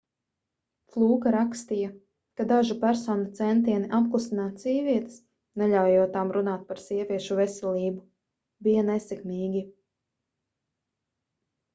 flūka rakstīja ka dažu personu centieni apklusināt sievietes neļaujot tām runāt par sieviešu veselību bija nesekmīgi